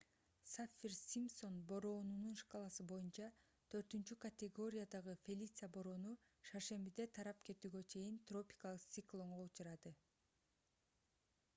саффир-симпсон бороонунун шкаласы боюнча 4-категориядагы фелиция бороону шаршембиде тарап кетүүгө чейин тропикалык циклонго учурады